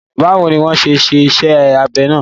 Bawo ni wọ́n ṣe ṣe iṣẹ́ abẹ náà?